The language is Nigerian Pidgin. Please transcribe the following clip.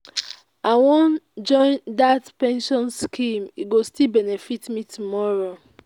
i wan join dat pension scheme e go still benefit me tomorrow